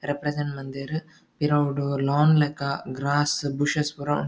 Represent ಮಲ್ದೆರ್ ಪಿರವುಡ್ lawn ಲೆಕ ಗ್ರಾಸ್ ಬುಶಸ್ ಪುರ ಉಂಡು.